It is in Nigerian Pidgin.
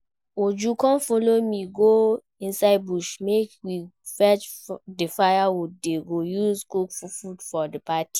Uju come follow me go inside bush make we fetch the firewood dey go use cook food for the party